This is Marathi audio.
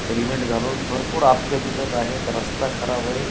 हेल्मेट घालून भरपूर आप्पे दिसत आहेत रस्ता खराब आहे.